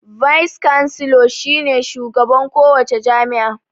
"Vice Chancellor" shi ne shugaban ko wace jami'a.